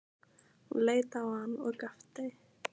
Ég leit á hann og gapti.